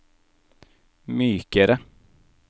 mykere